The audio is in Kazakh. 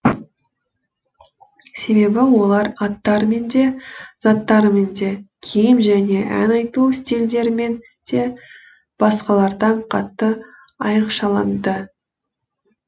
себебі олар аттарымен де заттарымен де киім және ән айту стильдерімен де басқалардан қатты айрықшаланды